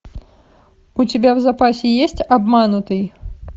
у тебя в запасе есть обманутый